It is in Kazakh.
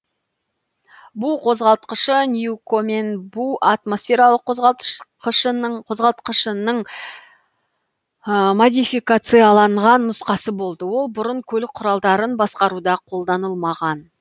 бу қозғалтқышы ньюкомен бу атмосфералық қозғалтқышының модификацияланған нұсқасы болды ол бұрын көлік құралдарын басқаруда қолданылмаған